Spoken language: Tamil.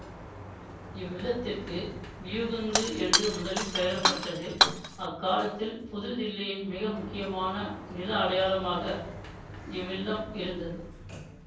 இவ்வில்லத்திற்கு வியூகுந்து என்று முதலில் பெயரிட பட்டது அக்காலத்தில் புதுதில்லியின் மிகமுக்கியமான நில அடையாளமாக இவ்வில்லம் இருந்தது